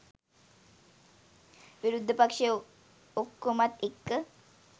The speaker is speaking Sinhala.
විරුද්ධ පක්‍ෂයේ ඔක්කොමත් එක්ක